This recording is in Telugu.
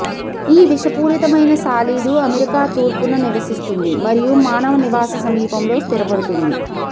ఈ విషపూరితమైన సాలీడు అమెరికా తూర్పున నివసిస్తుంది మరియు మానవ నివాస సమీపంలో స్థిరపడుతుంది